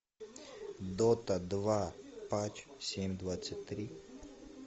дота два патч семь двадцать три